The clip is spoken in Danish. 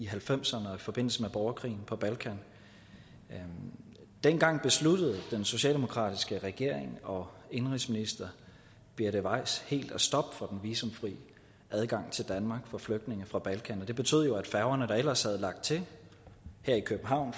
halvfemserne i forbindelse med borgerkrigen på balkan dengang besluttede den socialdemokratiske regering og indenrigsminister birte weiss helt at stoppe for den visumfri adgang til danmark for flygtninge fra balkan det betød jo at færgerne der ellers havde lagt til her i københavn